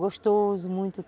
Gostoso, muito